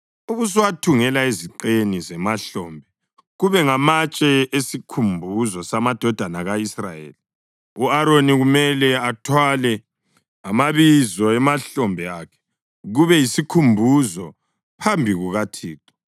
ubusuwathungela eziqeni zemahlombe kube ngamatshe esikhumbuzo samadodana ka-Israyeli. U-Aroni kumele athwale amabizo emahlombe akhe kube yisikhumbuzo phambi kukaThixo.